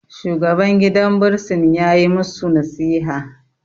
shugaban gidan bursin ya yi musu nasiha